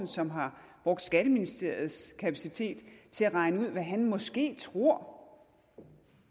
som har brugt skatteministeriets kapacitet til at regne ud hvad han måske tror